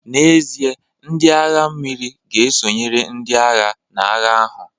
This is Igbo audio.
N'ezie, ndị agha mmiri ga-esonyere ndị agha n'agha ahụ